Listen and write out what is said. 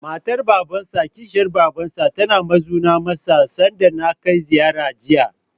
Matar Babansa/Kishiyar Babarsa tana muzana masa, sanda na kai ziyara, Jiya.